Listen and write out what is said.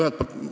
Aitäh!